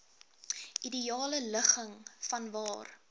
ideale ligging vanwaar